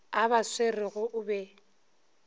a ba swerego o be